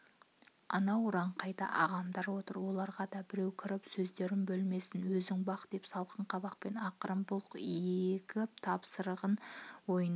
анау ұраңқайда ағамдаротыр оларғадабіреу кіріп сөздерін бөлмесін өзіңбақ деп салқын қабақпен ақырын бұлк егіп тапсырған-ды ойының